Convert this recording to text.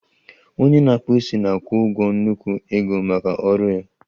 Onye na-akpụ isi na-akwụ ụgwọ nnukwu ego maka ọrụ ya